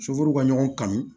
ka ɲɔgɔn kanu